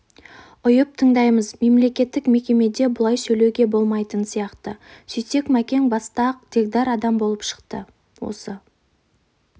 ұйып тыңдаймыз мемлекеттік мекемеде бұлай сөйлеуге болмайтын сияқты сөйтсек мәкең баста-ақ дегдар адам болып шықты осы